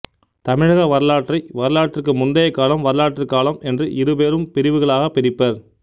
தமிழக வரலாற்றை வரலாற்றுக்கு முந்தைய காலம் வரலாற்றுக் காலம் என்று இருபெரும் பிரிவுகளாகப் பிரிப்பர்